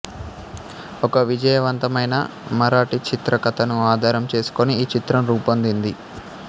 ఒక విజయవంతమైన మరాఠీ చిత్ర కథను ఆధారం చేసుకుని ఈ చిత్రం రూపొందింది